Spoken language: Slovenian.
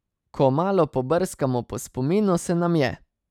Ko malo pobrskamo po spominu, se nam je.